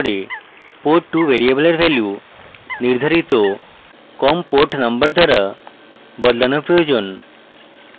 port2 ভ্যারিয়েবলের value নির্ধারিত com port number দ্বারা বদলানো প্রয়োজন